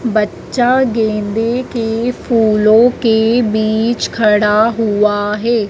बच्चा गेंदे के फूलों के बीच खड़ा हुआ है।